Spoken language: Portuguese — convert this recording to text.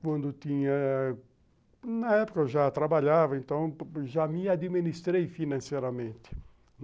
Quando tinha... Na época eu já trabalhava, então já me administrei financeiramente.